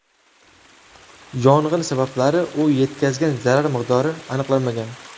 Yong‘in sabablari u yetkazgan zarar miqdori aniqlanmagan.